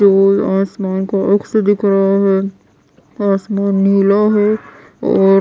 आसमान का अक्स दिख रहा है आसमान नीला है और--